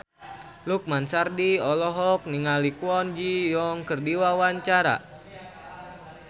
Lukman Sardi olohok ningali Kwon Ji Yong keur diwawancara